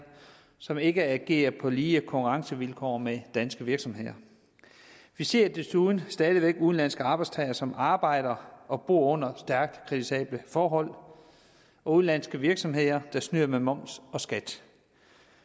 som ikke agerer på lige konkurrencevilkår med danske virksomheder vi ser desuden stadig væk udenlandske arbejdstagere som arbejder og bor under stærkt kritisable forhold og udenlandske virksomheder der snyder med moms og skat